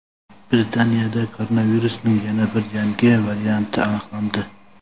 Britaniyada koronavirusning yana bir yangi varianti aniqlandi.